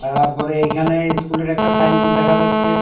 তারপরে ইখানে ইস্কুলের একটা সাইন বোর্ড দেখা যাচ্ছে।